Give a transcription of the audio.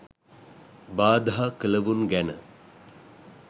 බාධා කළවුන් ගැන